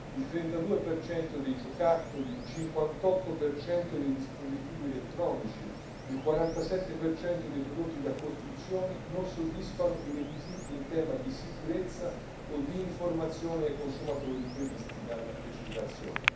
Il 32 dei giocattoli, il 58 dei dispositivi elettronici, il 47 dei prodotti da costruzione non soddisfano i requisiti in tema di sicurezza o di informazione ai consumatori previsti dalla legislazione.